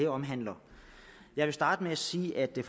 omhandler jeg vil starte med at sige at vi